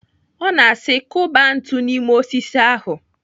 Ọ na-asi kụba ntu n'ime osisi ahụ.